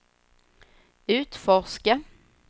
utforska